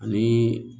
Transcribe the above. Ani